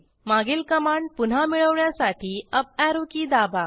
मागील कमांड पुन्हा मिळवण्यासाठी अप ऍरो की दाबा